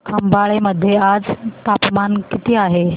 खंबाळे मध्ये आज तापमान किती आहे